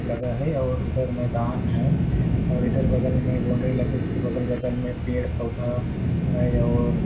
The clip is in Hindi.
लगे हुए और उधर मैदान है और इधर बगल में बोंडरी लग उसके बगल बगल में पेड़ पौधा है और --